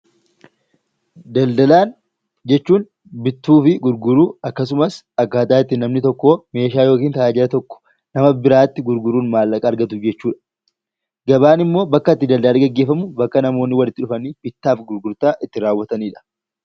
Daldalaan jechuun bituu fi gurguruu akkasumas akkaataa itti namni tokko meeshaa yookiin tajaajila tokko nama biraatti gurguruun maallaqa argatu jechuudha. Gabaan immoo bakka itti daldalli gaggeeffamu, bakka itti namoonni walitti dhufanii bittaa fi gurgurtaa itti raawwatanidha.